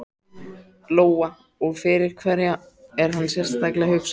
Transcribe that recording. Lóa: Og fyrir hverja er hann sérstaklega hugsaður?